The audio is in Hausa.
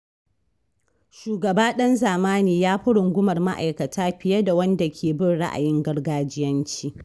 Shugaba ɗan zamani yafi rungumar ma'aikata fiye da wanda ke bin ra'ayin gargajiyanci.